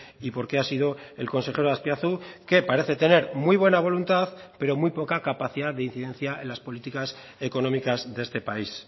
y por qué ha sido el consejero azpiazu que parece tener muy buena voluntad pero muy poca capacidad de incidencia en las políticas económicas de este país